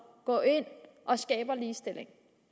går ind og skaber ligestilling